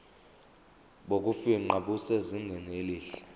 bokufingqa busezingeni elihle